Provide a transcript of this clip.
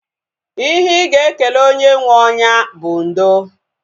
Ihe ị ga-ekele onye nwee onya bụ ndo